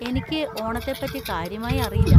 എനിക്ക് ഓണത്തെ പറ്റി കാര്യമായി അറിയില്ല.